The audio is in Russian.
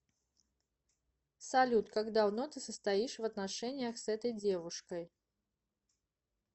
салют как давно ты состоишь в отношениях с этой девушкой